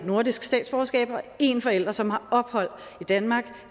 nordisk statsborgerskab har en forælder som har ophold i danmark